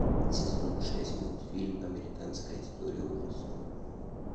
сезон шесть мультфильм американская история ужасов